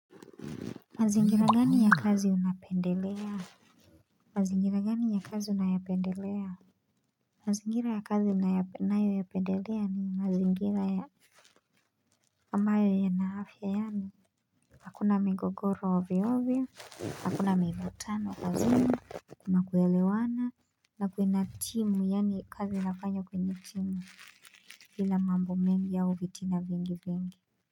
Mazingira gani ya kazi unapendelea? Mazingira gani ya kazi unayapendelea? Mazingira ya kazi ninayoyapendelea ni mazingira ya ambayo yana afya yaani Hakuna mingogoro ovyoovyo, hakuna mivutano kazi, kuna kuelewana na kuna timu yaani kazi inafanywa kwenye timu bila mambo mengi yao vitina vingi vingi.